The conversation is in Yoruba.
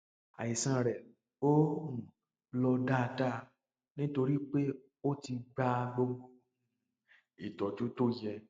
àìsàn rẹ ò um lọ dáadáa nítorí pé o ò tíì gba gbogbo um ìtọjú tó yẹ